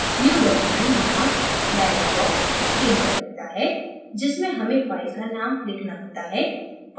new document नामक dialog box screen पर दिखता है जिसमें हमें फ़ाइल का name लिखना होता है